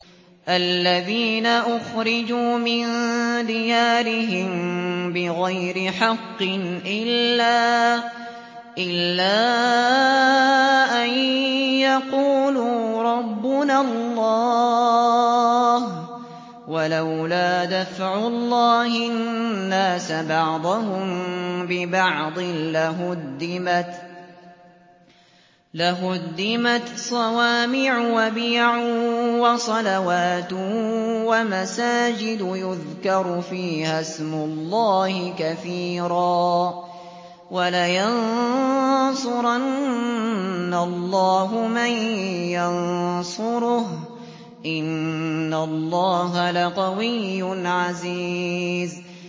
الَّذِينَ أُخْرِجُوا مِن دِيَارِهِم بِغَيْرِ حَقٍّ إِلَّا أَن يَقُولُوا رَبُّنَا اللَّهُ ۗ وَلَوْلَا دَفْعُ اللَّهِ النَّاسَ بَعْضَهُم بِبَعْضٍ لَّهُدِّمَتْ صَوَامِعُ وَبِيَعٌ وَصَلَوَاتٌ وَمَسَاجِدُ يُذْكَرُ فِيهَا اسْمُ اللَّهِ كَثِيرًا ۗ وَلَيَنصُرَنَّ اللَّهُ مَن يَنصُرُهُ ۗ إِنَّ اللَّهَ لَقَوِيٌّ عَزِيزٌ